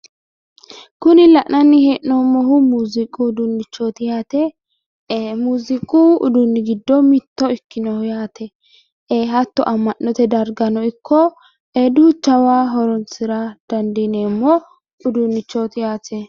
Kuni la'nanni hee'noommohu muuziiqu uduunnichoti yaate muuziiqu uduunni giddo mitto ikkinoho yaate hatto amma'note dargano ikko duuchawa horonsi'ra dandiineemmo uduunnichooti yaate.